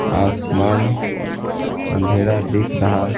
आसमान अंधेरा दिख रहा--